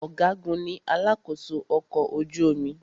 Ọ̀gágun ní alakósó ọkọ̀ ojú omi.